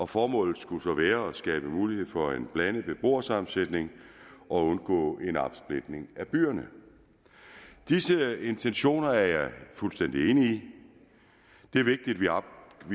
formålet skulle være at skabe mulighed for en blandet beboersammensætning og undgå en opsplitning af byerne disse intentioner er jeg fuldstændig enig